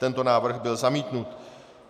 Tento návrh byl zamítnut.